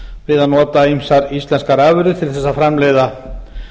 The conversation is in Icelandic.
við að nota ýmsar íslenskar afurðir til þess að framleiða